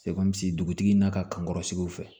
dugutigi n'a ka kankɔrɔ sigiw fɛ